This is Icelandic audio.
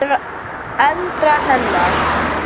eldra hennar.